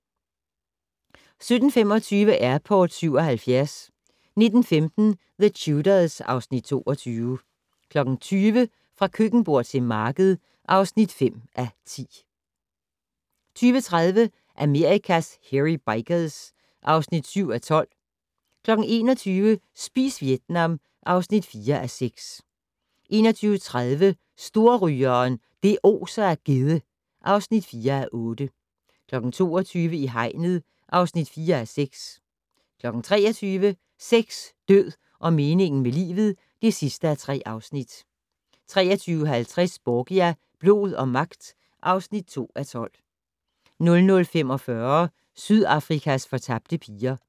17:25: Airport 77 19:15: The Tudors (Afs. 22) 20:00: Fra køkkenbord til marked (5:10) 20:30: Amerikas Hairy Bikers (5:12) 21:00: Spis Vietnam (4:6) 21:30: Storrygeren - det oser af gedde (4:8) 22:00: I hegnet (4:6) 23:00: Sex, død og meningen med livet (3:3) 23:50: Borgia - blod og magt (2:12) 00:45: Sydafrikas fortabte piger